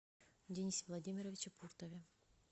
денисе владимировиче пуртове